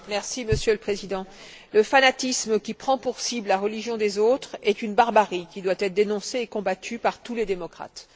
Monsieur le Président, le fanatisme qui prend pour cible la religion des autres est une barbarie qui doit être dénoncée et combattue par tous les démocrates.